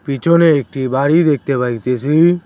পিছনে একটি বাড়ি দেখতে পাইতেছি।